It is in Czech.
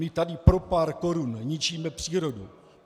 My tady pro pár korun ničíme přírodu.